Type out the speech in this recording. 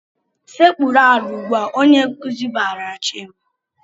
"Sekpuru ala ugbu a!" Onye nkuzi barala Chima.